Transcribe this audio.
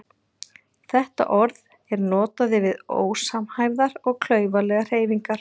Þetta orð er notað yfir ósamhæfðar og klaufalegar hreyfingar.